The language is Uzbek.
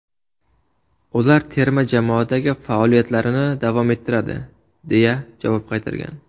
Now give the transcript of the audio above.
Ular terma jamoadagi faoliyatlarini davom ettiradi”, deya javob qaytargan.